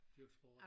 Dyrke sport